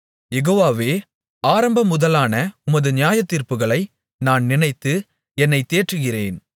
யெகோவாவே ஆரம்பமுதலான உமது நியாயத்தீர்ப்புகளை நான் நினைத்து என்னைத் தேற்றுகிறேன்